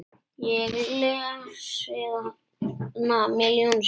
Ég lesið hana milljón sinnum.